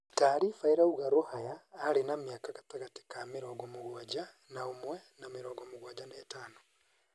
Taariba irauga Rũhaya arĩ na mĩaka gatagatĩ ka mĩrongo mũgwanja .Na ũmwe na mĩrongo mũgwanja na ĩtano.